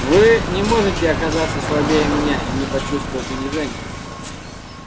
вы не можете оказаться слабее меня и не почувствовать унижения